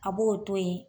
A b'o to yen